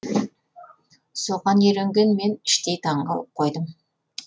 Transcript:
соған үйренген мен іштей таңқалып қойдым